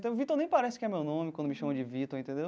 Então Vitor nem parece que é meu nome quando me chamam de Vitor, entendeu?